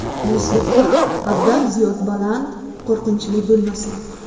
Musiqa haddan ziyod baland, qo‘rqinchli bo‘lmasin.